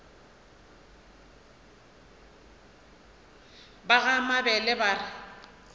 ba ga mabele ba re